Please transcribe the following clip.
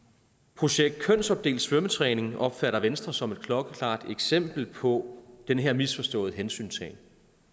projekt kønsopdelt svømmetræning opfatter venstre som et klokkeklart eksempel på den her misforståede hensyntagen